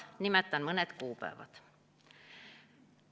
Nimetan mõned kuupäevad.